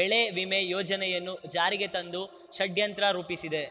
ಬೆಳೆ ವಿಮೆ ಯೋಜನೆಯನ್ನು ಜಾರಿಗೆ ತಂದು ಷಡ್ಯಂತ್ರ ರೂಪಿಸಿದೆ